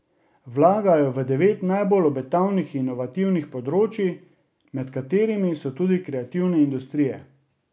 Vlagajo v devet najbolj obetavnih inovativnih področij, med katerimi so tudi kreativne industrije.